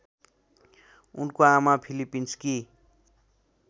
उनको आमा फिलिपिन्सकी